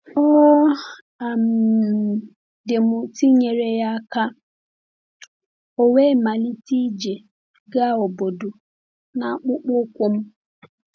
Ọ um dị m ụtọ inyere ya aka, ọ̀ we malite ije gaa obodo n’akpụkpọ ụkwụ m.